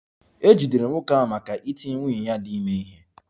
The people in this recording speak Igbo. E jidere nwoke ahụ maka iti nwunye ya dị ime ihe